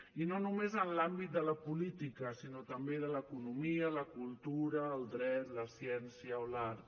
i no només en l’àmbit de la política sinó també de l’economia la cultura el dret la ciència o l’art